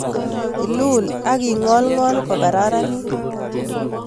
Ilul ak ing'olng'ol kokararanit